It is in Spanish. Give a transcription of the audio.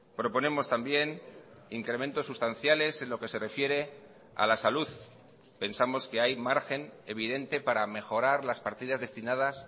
proponemos también incrementos sustanciales en lo que se refiere a la salud pensamos que hay margen evidente para mejorar las partidas destinadas